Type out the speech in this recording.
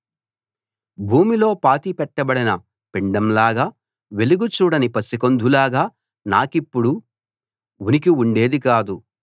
భూమిలో పాతిపెట్టబడిన పిండంలాగా వెలుగు చూడని పసికందులాగా నాకిప్పుడు ఉనికి ఉండేది కాదు